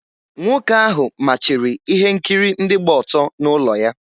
Nwoke ahụ machiri ihe nkiri ndị gba ọtọ n’ụlọ ya.